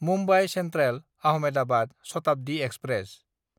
Mumbai सेन्ट्रेल–आहमेदाबाद Shatabdi express